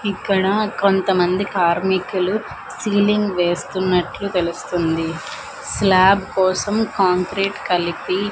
ఇక్కడ కొంతమంది కార్మికులు సీలింగ్ వేస్తున్నట్లు తెలుస్తుంది స్లాబ్ కోసం కాంక్రీట్ కలిపి--